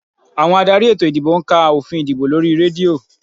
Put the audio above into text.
Àwọn adarí ètò ìdìbò ń ka òfin ìdìbò lórí rédíò